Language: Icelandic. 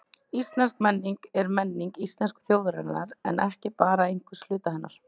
Íslensk menning er menning íslensku þjóðarinnar en ekki bara einhvers hluta hennar.